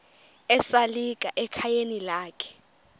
esalika ekhayeni lakhe